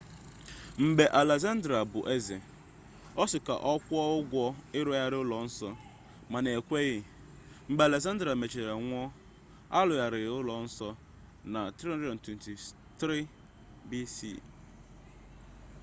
mgbe alexander bụ eze ọ sị ka ọ kwụọ ụgwọ ịrụgharị ụlọ nsọ mana e kweghị mgbe alexander mechara nwụọ a rụgharịrị ụlọ nsọ na 323 bce